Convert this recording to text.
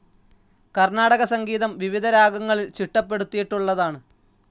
കർണാടക സംഗീതം, വിവിധ രാഗങ്ങളിൽ ചിട്ടപ്പെടുത്തിയിട്ടുള്ളതാണ്.